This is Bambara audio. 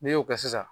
N'i y'o kɛ sisan